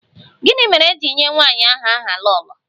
Gịnị mere e ji nye nwanyị ahụ aha 'Lolo'?